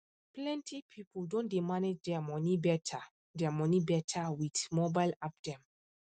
plenty people don dey manage their money better their money better with mobile app dem